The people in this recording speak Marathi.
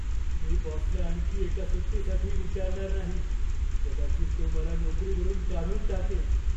मी बॉसला आणखी एका सुट्टीसाठी विचारणार नाही. कदाचित तो मला नोकरीवरून काढून टाकेल.